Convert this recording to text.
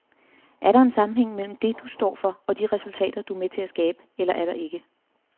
Er der en sammenhæng mellem det, du står for, og de resultater, du er med til at skabe, eller er der ikke?